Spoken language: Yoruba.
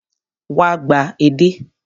Wá gba edé.